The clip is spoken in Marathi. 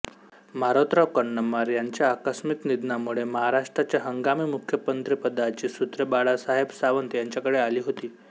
मारोतराव कन्नमवार यांच्या आकस्मिक निधनामुळे महाराष्ट्राच्या हंगामी मुख्यमंत्रिपदाची सूत्रे बाळासाहेब सावंत यांच्याकडे आली होती